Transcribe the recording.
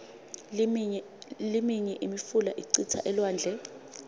liminye imifula icitsa elwandle